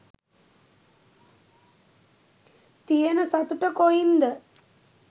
තියන සතුට කොයින්ද?